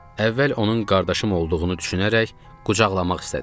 Əvvəl onun qardaşım olduğunu düşünərək qucaqlamaq istədim.